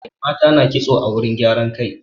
Mata na ƙitso a wurin gyaran kai.